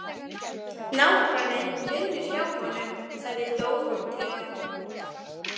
Nágranninn vinnur hjá honum, sagði Dórótea.